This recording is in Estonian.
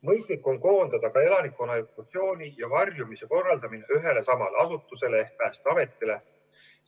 Mõistlik on koondada ka elanikkonna evakuatsiooni ja varjumise korraldamine ühele ja samale asutusele ehk Päästeametile.